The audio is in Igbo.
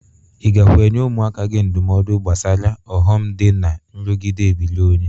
Ị gakwa enye ụmụaka gị ndụmọdụ gbasara ụghọm dị na nrụgide ebiri onye?